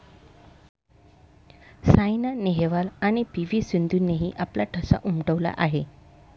सायना नेहवाल आणि P. V. सिंधूनेही आपला ठसा उमटवला आहे.